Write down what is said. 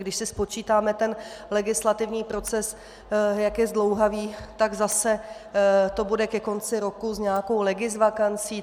Když si spočítáme ten legislativní proces, jak je zdlouhavý, tak to zase bude ke konci roku s nějakou legisvakancí.